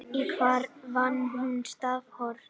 hver fann upp stafrófið